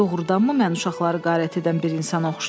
Doğrudanmı mən uşaqları qarət edən bir insana oxşayıram?